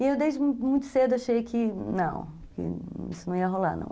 E eu desde muito cedo achei que, não, isso não ia rolar, não.